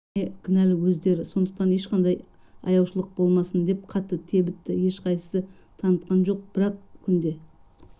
бәріне кінәлі өздері сондықтан ешқандай аяушылық болмасын деп қатты тебітті ешқайсысы танытқан жоқ бір-ақ күнде